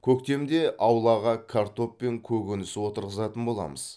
көктемде аулауға картоп пен көкөніс отырғызатын боламыз